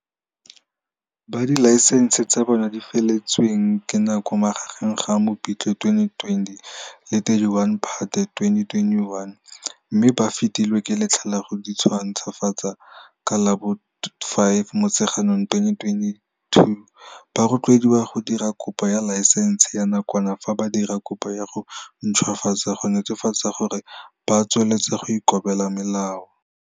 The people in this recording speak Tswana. Ba dilaesense tsa bona di feletsweng ke nako magareng ga Mopitlwe 2020 le 31 Phatwe 2021, mme ba fetilwe ke letlha la go dintšhwafatsa ka la bo 5 Motsheganong 2022, ba rotloediwa go dira kopo ya laesense ya nakwana fa ba dira kopo ya go ntšhwafatsa go netefatsa gore ba tswelela go ikobela melao.